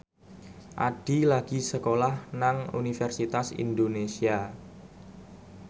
Addie lagi sekolah nang Universitas Indonesia